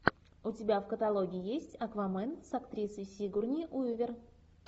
у тебя в каталоге есть аквамен с актрисой сигурни уивер